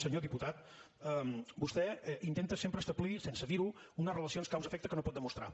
senyor diputat vostè intenta sempre establir sense dirho unes relacions causaefecte que no pot demostrar